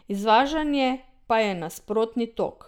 Izvažanje pa je nasprotni tok.